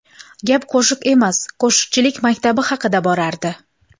Gap qo‘shiq emas, qo‘shiqchilik maktabi haqida borardi.